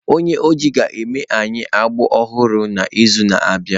Onye oji ga-eme anyị agbụ ọhụrụ n'izu na-abịa.